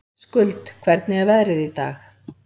Skuld, hvernig er veðrið í dag?